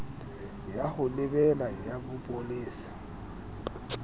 ya ho lebela ya bopolesa